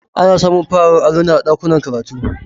Ana samun fararen alluna a ɗakunan karatu